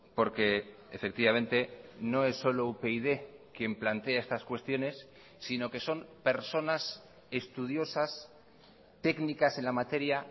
porque efectivamente no es solo upyd quien plantea estas cuestiones sino que son personas estudiosas técnicas en la materia